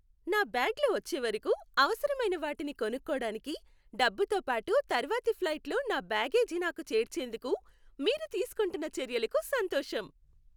నా బ్యాగ్లు వచ్చే వరకు అవసరమైన వాటిని కొనుక్కోడానికి, డబ్బుతో పాటు తర్వాతి ఫ్లైట్లో నా బ్యాగేజీ నాకు చేర్చేందుకు, మీరు తీసుకుంటున్న చర్యలకు సంతోషం.